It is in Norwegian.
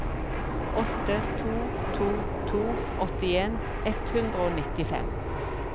åtte to to to åttien ett hundre og nittifem